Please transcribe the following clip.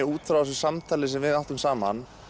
út frá þessu samtali sem við áttum saman